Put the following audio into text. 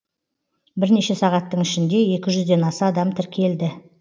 бірнеше сағаттың ішінде екі жүзден аса адам тіркелді